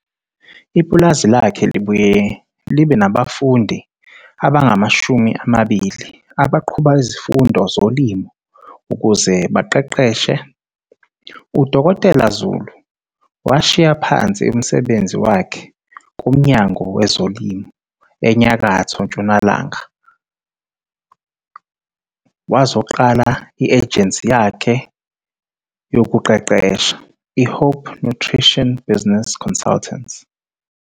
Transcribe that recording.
Ipulazi lakhe libuye libe nabafundi abangama-20 abaqhuba izifundo zolimo ukuze libaqeqeshe. U-Dkt Zulu washiya phansi umsebenzi wakhe kuMnyango Wezolimo eNyakatho Ntshonalanga wazoqala i-ejensi yakhe yekuqeqesha, i-Hope Nutrition Business Consultants.